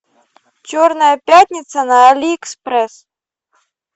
черная пятница на алиэкспресс